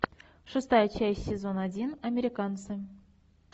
шестая часть сезон один американцы